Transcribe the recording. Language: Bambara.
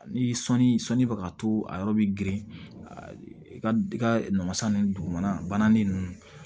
Ni sɔnni sɔnni bɛ ka to a yɔrɔ bɛ girin a ka i ka namasa ninnu dugumana bananin ninnu